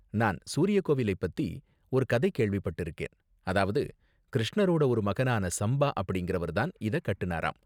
நான் சூரிய கோவிலை பத்தி ஒரு கதை கேள்விபட்டிருக்கேன், அதாவது கிருஷ்ணரோட ஒரு மகனான சம்பா அப்படிங்கிறவர் தான் இத கட்டுனாராம்.